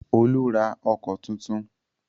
Olú ra ọkọ̀ tuntun.